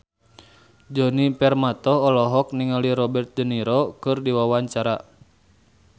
Djoni Permato olohok ningali Robert de Niro keur diwawancara